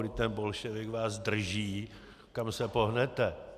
Vždyť ten bolševik vás drží, kam se pohnete.